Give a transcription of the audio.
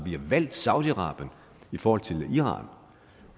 vi har valgt saudi arabien i forhold til iran